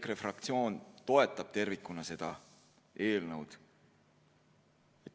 EKRE fraktsioon toetab tervikuna seda eelnõu.